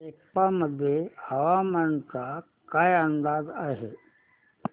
सेप्पा मध्ये हवामानाचा काय अंदाज आहे